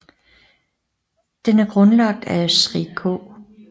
Den er grundlagt af Sri K